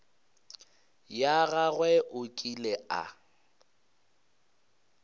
ya gagwe o ile a